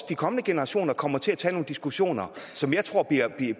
de kommende generationer kommer til at tage nogle diskussioner som jeg tror